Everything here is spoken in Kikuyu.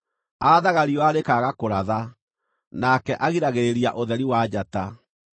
Aathaga riũa rĩkaaga kũratha; nake agiragĩrĩria ũtheri wa njata.